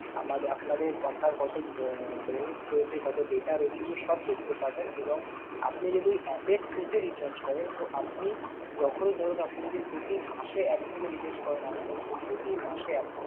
আমাদের আপনাদের আপনার কত আহ balance রয়েছে, কত data রয়েছে এগুলো সব দেখতে পাবেন এবং আপনি যদি app এর through তে recharge করেন, তো আপনি যখনই ধরুন আপনি যদি প্রতি মাসে app থেকে recharge করেন আমদের তো প্রতি মাসে app থেকে